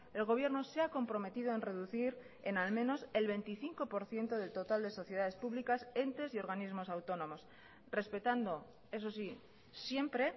el gobierno se ha comprometido en reducir en al menos el veinticinco por ciento del total de sociedades públicas entes y organismos autónomos respetando eso sí siempre